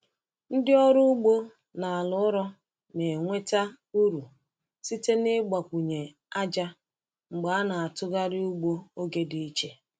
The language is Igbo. Ndị ọrụ ugbo n’ala ụrọ na-enweta uru site n’ịgbakwunye ájá mgbe a na-atụgharị ugbo oge dị iche.